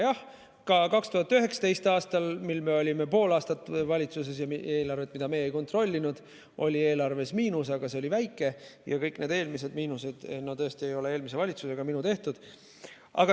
Jah, ka 2019. aastal, mil me olime pool aastat valitsuses, oli eelarve, mida meie ei kontrollinud, miinuses, aga see oli väike ja kõik need eelmised miinused tõesti ei ole eelmise valitsuse ega minu tehtud.